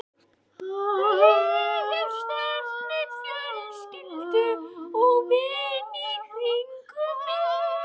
Ég hef sterkt net fjölskyldu og vina í kringum mig.